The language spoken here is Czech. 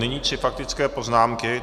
Nyní tři faktické poznámky.